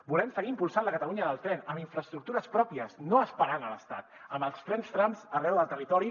volem seguir impulsant la catalunya del tren amb infraestructures pròpies no esperant l’estat amb els trens trams arreu del territori